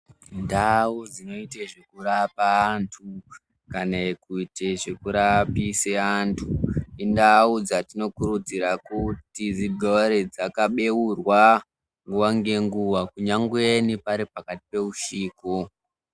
Ndau dzinoite zvekurapa antu, kana kuite zvekurapisa antu, indau dzatinokurudzira kuti, dzigare dzakabeurwa nguwa-ngenguwa kunyangweni pari pakati peusiku.